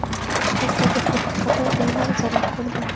Shtatdagi bir qator uylar zarar ko‘rgan.